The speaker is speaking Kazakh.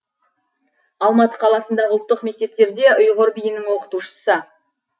алматы қаласындағы ұлттық мектептерде ұйғыр биінің оқытушысы